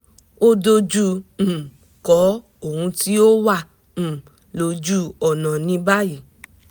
ó dojú um kọ́ ohun tí ó wà um lójú ọ̀nà ní báyìí